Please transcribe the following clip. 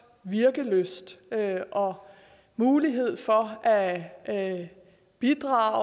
virkelyst og mulighed for at at bidrage